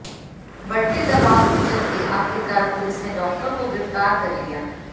बढ़ते दवाब के चलते आखिरकार पुलिस ने डॉक्टर को गिरफ्तार कर लिया